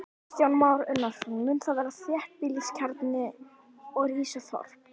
Kristján Már Unnarsson: Mun þar verða þéttbýliskjarni og rísa þorp?